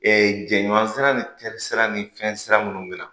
jɛɲan sira ni terisira ni fɛnsira minnu mina